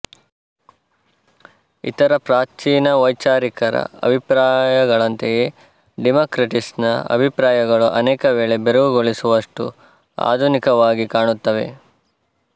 ಇತರ ಪ್ರಾಚೀನ ವೈಚಾರಿಕರ ಅಭಿಪ್ರಾಯಗಳಂತೆಯೇ ಡಿಮಾಕ್ರಿಟಸನ ಅಭಿಪ್ರಾಯಗಳೂ ಅನೇಕ ವೇಳೆ ಬೆರಗುಗೊಳಿಸುವಷ್ಟು ಆಧುನಿಕವಾಗಿ ಕಾಣುತ್ತವೆ